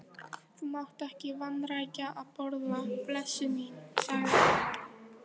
Þú mátt ekki vanrækja að borða, blessuð mín, sagði amma.